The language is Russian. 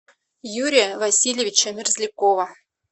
юрия васильевича мерзлякова